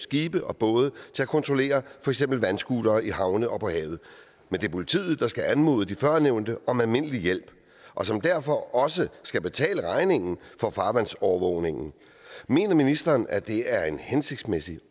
skibe og både til at kontrollere for eksempel vandscootere i havne og på havet men det er politiet der skal anmode de førnævnte om almindelig hjælp og som derfor også skal betale regningen for farvandsovervågningen mener ministeren at det er en hensigtsmæssig